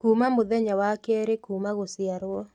Kuuma mũthenya wa kerĩ kuuma gũciarwo